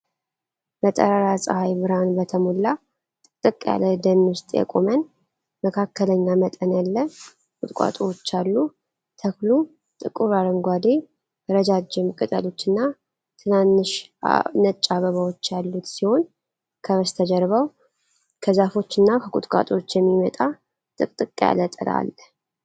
በጠራራ ፀሐይ ብርሃን በተሞላ ጥቅጥቅ ያለ ደን ውስጥ የቆመን መካከለኛ መጠን ያለ ቁጥቋጦዎች አሉ። ተክሉ ጥቁር አረንጓዴ፣ ረዣዥም ቅጠሎችና ትናንሽ ነጭ አበባዎች ያሉት ሲሆን፣ ከበስተጀርባው ከዛፎችና ከቁጥቋጦዎች የሚመጣ ጥቅጥቅ ያለ ጥላ አለ።